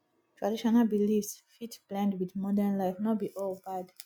traditional beliefs fit blend wit modern life no be all bad